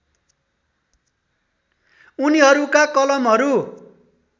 उनीहरूका कलमहरू